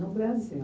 No Brasil.